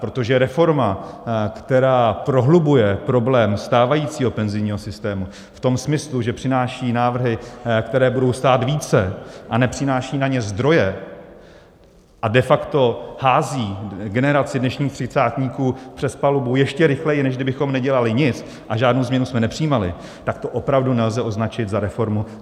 Protože reforma, která prohlubuje problém stávajícího penzijního systému v tom smyslu, že přináší návrhy, které budou stát více, a nepřináší na ně zdroje a de facto hází generaci dnešních třicátníků přes palubu ještě rychleji, než kdybychom nedělali nic a žádnou změnu jsme nepřijímali, tak to opravdu nelze označit za reformu.